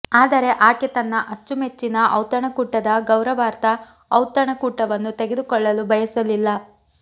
ಆದರೆ ಆಕೆ ತನ್ನ ಅಚ್ಚುಮೆಚ್ಚಿನ ಔತಣಕೂಟದ ಗೌರವಾರ್ಥ ಔತಣಕೂಟವನ್ನು ಕಳೆದುಕೊಳ್ಳಲು ಬಯಸಲಿಲ್ಲ